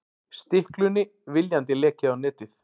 Stiklunni viljandi lekið á netið